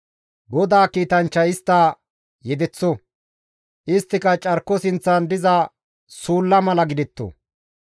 GODAA kiitanchchay istta yedeththo; isttika carko sinththan diza suulla mala gidetto.